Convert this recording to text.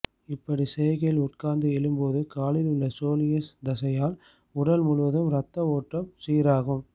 இப்படி செய்கையில் உட்கார்ந்து எழும்போது காலில் உள்ள சோலியஸ் தசையால் உடல் முழுவதும் ரத்த ஓட்டம் சீராகும்